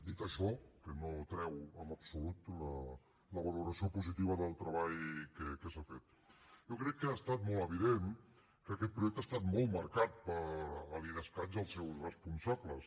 dit això que no treu en absolut la valoració positiva del treball que s’ha fet jo crec que ha estat molt evident que aquest projecte ha estat molt marcat per l’idescat i els seus responsables